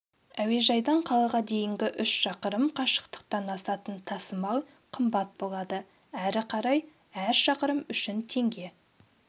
әуежайдан қалаға дейінгі үш шақырым қашықтықтан асатын тасымал қымбат болады әрі қарай әр шақырым үшін теңге